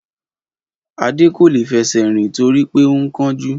Adé kò lè fẹsẹ̀ rìn torí pé ó ń kánjú